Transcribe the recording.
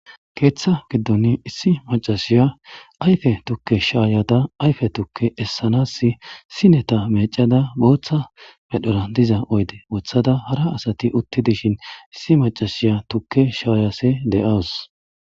Keeththa giddoni issi macasiya ayfe tukke shaayada ayfe tukke essanaassi sineta meccada booththa medhora diza oyde wothada hara asati utti dishin issi macasiya tukke shaayase de'awus.